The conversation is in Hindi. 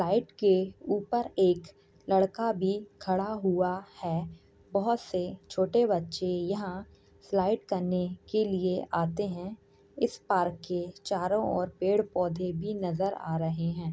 पाइप के ऊपर एक लड़का भी खड़ा हुआ है। बहुत से छोटे बच्चे यहाँ स्लाइड करने के लिए आते हैं इस पार्क के चारों और पेड़-पौधे भी नजर आ रहे हैं।